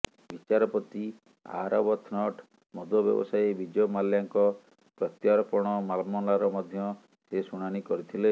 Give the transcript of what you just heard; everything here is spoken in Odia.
ବିଚାରପତି ଆରବଥ୍ନଟ୍ ମଦ ବ୍ୟବସାୟୀ ବିଜୟ ମାଲ୍ୟାଙ୍କ ପ୍ରତ୍ୟର୍ପଣ ମାମଲାର ମଧ୍ୟ ସେ ଶୁଣାଣି କରିଥିଲେ